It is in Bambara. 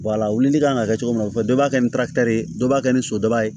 wulili kan ka kɛ cogo min na o bɛɛ b'a kɛ ni ye dɔ b'a kɛ ni so daba ye